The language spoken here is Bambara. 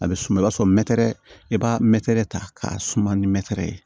A bɛ suma i b'a sɔrɔ i b'a mɛtɛrɛ ta k'a suma ni mɛtɛr ye